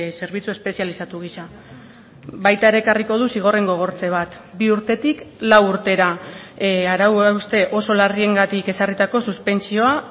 zerbitzu espezializatu gisa baita ere ekarriko du zigorren gogortze bat bi urtetik lau urtera arau hauste oso larriengatik ezarritako suspentsioa